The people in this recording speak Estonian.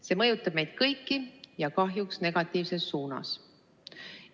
See mõjutab meid kõiki ja kahjuks negatiivses suunas.